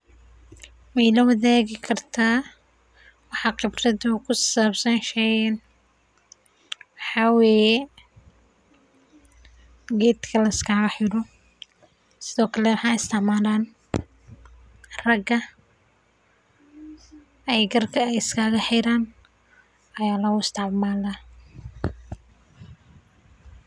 Maidha washagi kartaa waxa qebrad oo kusabsan sheygan sithokale waxaa isticmalan raga aya garka iskaga xira sithas weye.